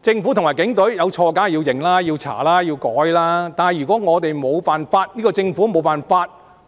政府和警隊有錯的話，當然要認、要查、要改，但如果政府無法